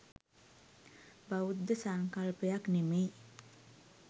බෞද්ධ සංකල්පයක් නෙමෙයි.